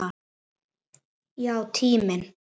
Já, tíminn.